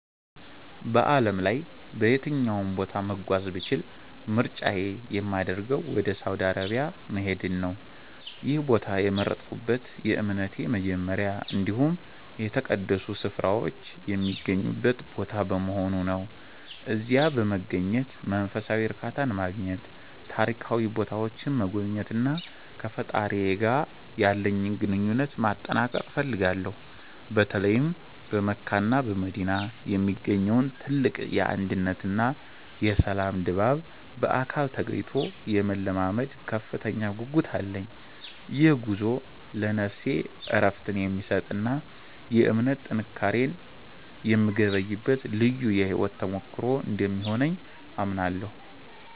በዓለም ላይ በየትኛውም ቦታ መጓዝ ብችል ምርጫዬ የሚያደርገው ወደ ሳውዲ አረቢያ መሄድን ነው። ይህን ቦታ የመረጥኩት የእምነቴ መጀመሪያ እንዲሁም የተቀደሱ ስፍራዎች የሚገኙበት ቦታ በመሆኑ ነው። እዚያ በመገኘት መንፈሳዊ እርካታን ማግኘት፤ ታሪካዊ ቦታዎችን መጎብኘትና ከፈጣሪዬ ጋር ያለኝን ግንኙነት ማጠንከር እፈልጋለሁ። በተለይም በመካና በመዲና የሚገኘውን ትልቅ የአንድነትና የሰላም ድባብ በአካል ተገኝቶ የመለማመድ ከፍተኛ ጉጉት አለኝ። ይህ ጉዞ ለነፍሴ እረፍትን የሚሰጥና የእምነት ጥንካሬን የምገበይበት ልዩ የሕይወት ተሞክሮ እንደሚሆንልኝ አምናለሁ።